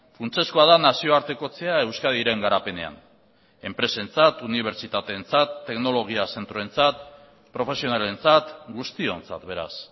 funtsezkoa da nazioartekotzea euskadiren garapenean enpresentzat unibertsitateentzat teknologia zentroentzat profesionalentzat guztiontzat beraz